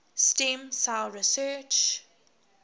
stem cell research